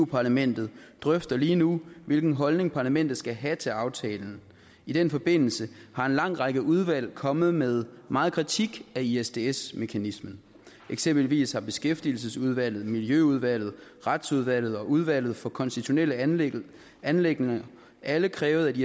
parlamentet drøfter lige nu hvilken holdning parlamentet skal have til aftalen i den forbindelse er en lang række udvalg kommet med meget kritik af isds isds mekanismen eksempelvis har beskæftigelsesudvalget miljøudvalget retsudvalget og udvalget for konstitutionelle anliggender anliggender alle krævet